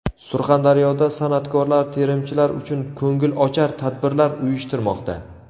Surxondaryoda san’atkorlar terimchilar uchun ko‘ngilochar tadbirlar uyushtirmoqda.